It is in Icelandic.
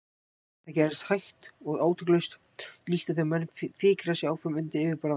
Það gerðist hægt og átakalaust, líkt og þegar menn fikra sig áfram undir yfirborði vatns.